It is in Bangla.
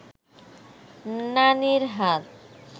নানির হাত